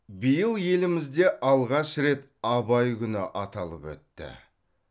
биыл елімізде алғаш рет абай күні аталып өтті